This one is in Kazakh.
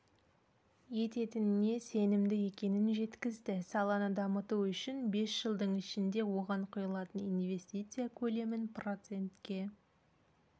ететініне сенімді екенін жеткізді саланы дамыту үшін бес жылдың ішінде оған құйылатын инвестиция көлемін процентке